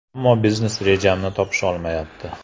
Ammo biznes rejamni topisholmayapti.